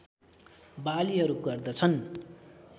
बालीहरू गर्दछन्